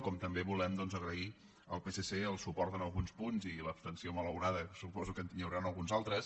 com també volem doncs agrair al psc el suport en alguns punts i l’abstenció malaurada que suposo que hi haurà en alguns altres